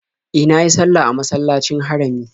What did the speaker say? E, na yi sallah a masallacin Harami.